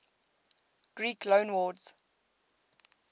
greek loanwords